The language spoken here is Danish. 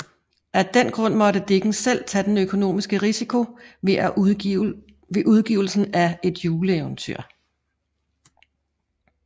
Af den grund måtte Dickens selv tage den økonomiske risiko ved udgivelsen af Et juleeventyr